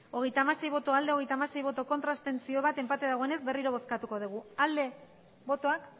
hogeita hamasei bai hogeita hamasei ez bat abstentzio enpate dagoenez berriro bozkatuko dugu bozkatu dezakegu aldeko botoak